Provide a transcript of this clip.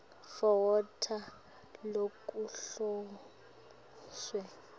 for water lokuhloswe